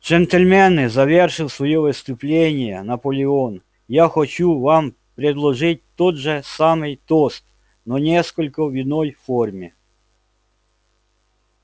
джентльмены завершил своё выступление наполеон я хочу вам предложить тот же самый тост но несколько в иной форме